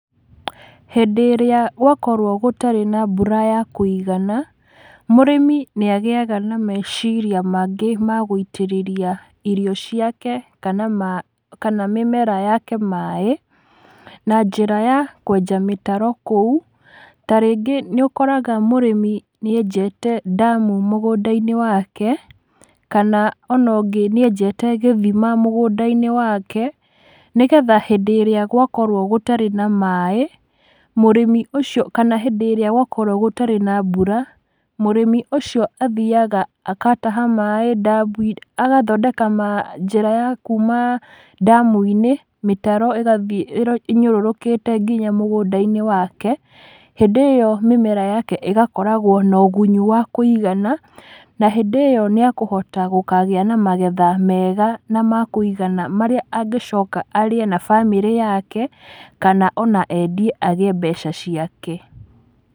Hĩndĩ ĩrĩa gwakorwo gũtarĩ na mbura ya kũigana, mũrĩmi nĩagĩaga na meciria mangĩ ma gũitĩrĩria irio ciake, kana ma kana mĩmera yake maĩ, na njĩra ya kwenja mĩtaro kũu, ta rĩngĩ nĩũkoraga mũrĩmi nĩenjete ndamu mũgũnda-inĩ wake, kana ona ũngĩ níenjete gĩthima mũgũnda-inĩ wake, nĩgetha hĩndĩ írĩa gwakorwo gũtarĩ na maĩ, mũrĩmi ũcio kana hĩndĩ ĩrĩa gwakorwo gũtarĩ na mbura, mũrĩmi ũcio athiaga akataha maĩ ndamu agathondeka ma, njĩra ya kuma ndamu-inĩ, mĩtaro ĩgathiĩ ĩro ĩnyũrũrũkĩte nginya mũgũnda-inĩ wake, hĩndĩ ĩyo mĩmera yake ĩgakoragwo na ũgunyu wa kũigana, na híndĩ ĩyo nĩakũhota gũkagĩa na magetha mega na makũigana, marĩa angĩcoka arĩe na bamĩrí yake, kana ona endie agĩe mbeca ciake.